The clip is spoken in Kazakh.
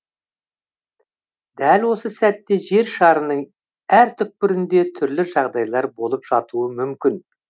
дәл осы сәтте жер шарының әр түкпірінде түрлі жағдайлар болып жатуы мүмкін